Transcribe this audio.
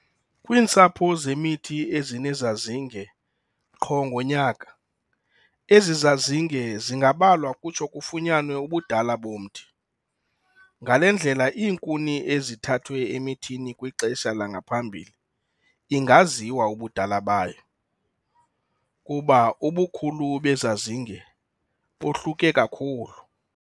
Kwiintsapho zemithi ezinezazinge qho ngonyaka, ezi zazinge zingabalwa kutsho kufunyanwe ubudala bomthi. Ngale ndlela, iinkuni ezithathwe emithini kwixesha langaphambili ingaziwa ubudala bayo, kuba ubukhulu bezazinge bohluke kakhulu.